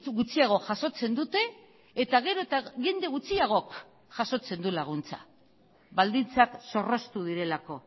gutxiago jasotzen dute eta gero eta jende gutxiagok jasotzen du laguntza baldintzak zorroztu direlako